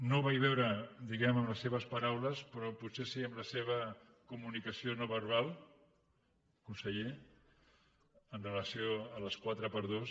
no ho vaig veure diguem ne en les seves paraules però potser sí en la seva comunicació no verbal conseller en relació amb les 4x2